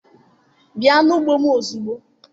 Bịa n'ugbo m ozugbo!